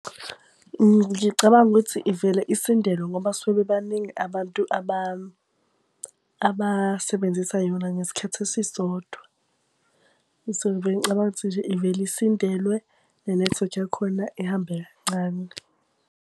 Ngicabanga ukuthi ivele isindelwe ngoba basuke bebaningi abantu abasebenzisa yona ngesikhathi esisodwa. So ngivele ngicabange ukuthi nje ivele isindelwe nenethiwekhi yakhona ihambe kancane.